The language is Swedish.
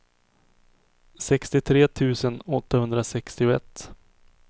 sextiotre tusen åttahundrasextioett